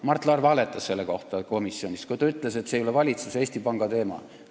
Mart Laar valetas selle kohta komisjonis, kui ta ütles, et see ei ole valitsuse ega Eesti Panga teema.